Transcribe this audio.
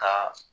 Ka